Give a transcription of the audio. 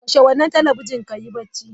Kashe wannan talabijin ka yi barci!